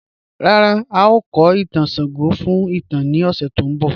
Ràrá, ào kò ìtàn Ṣàngó fún ìtàn ni òṣè tó n bọ̀.